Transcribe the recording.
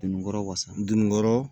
Dununikɔrɔ wasa don ni kɔrɔ